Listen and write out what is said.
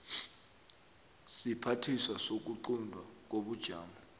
siphathiswa sokuquntwa kobujamo